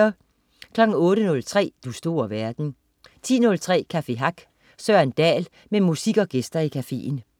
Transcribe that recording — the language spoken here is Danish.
08.03 Du store verden 10.03 Café Hack. Søren Dahl med musik og gæster i cafeen